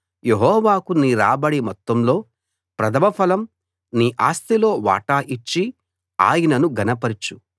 యెహోవాకు నీ రాబడి మొత్తంలో ప్రథమ ఫలం నీ ఆస్తిలో వాటా ఇచ్చి ఆయనను ఘనపరచు